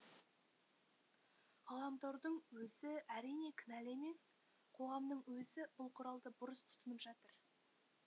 ғаламтордың өзі әрине кінәлі емес қоғамның өзі бұл құралды бұрыс тұтынып жатыр